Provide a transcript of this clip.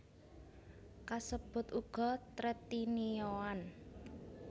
Kasebut uga tretinioan